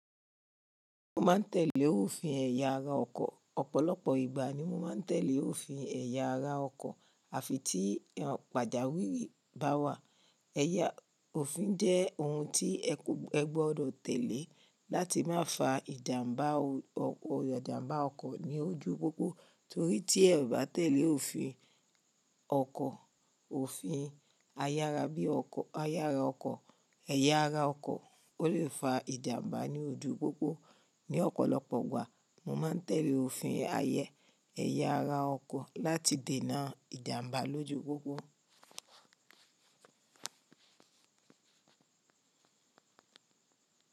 Mo máa ń tẹ̀lé òfin ẹ̀yà ara ọkọ̀. Ọ̀pọ̀lọpọ̀ ìgbà ni mo máa ń tẹ̀lé òfin iyàra ọkọ̀, àfi tí pàjáwìrì bá wà. Ẹ̀yà òfin jẹ́ ohun tí ẹ gbọ́dọ̀ tẹ̀lé láti má fa ìjàm̀bá ọkọ̀ ní ojú pópó. Tórí tí ẹ bá tẹ̀lé òfin ọkọ̀, òfin ayara bí i ayara ọkọ̀, ẹ̀yà ara ọkọ̀, ó lé fa ìjàm̀bá ní ojú pópó. Ní ọ̀pọ̀lọpọ̀ ìgbà, mo máa ń tẹ̀lé òfin ẹ̀yà ara ọkọ̀ láti dènà ìjàm̀bá lójú pópó.